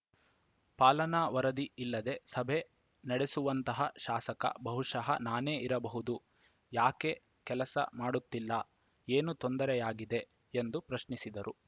ಪಾಲನಾ ವರದಿ ಇಲ್ಲದೆ ಸಭೆ ನಡೆಸುವಂತಹ ಶಾಸಕ ಬಹುಶಃ ನಾನೇ ಇರಬಹುದು ಯಾಕೆ ಕೆಲಸ ಮಾಡುತ್ತಿಲ್ಲ ಏನು ತೊಂದರೆಯಾಗಿದೆ ಎಂದು ಪ್ರಶ್ನಿಸಿದರು